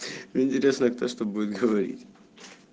мне интересно кто что будет говорить